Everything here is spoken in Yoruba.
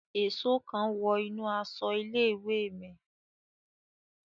Èsó kan wọ inú aṣọ ilé-ìwé mi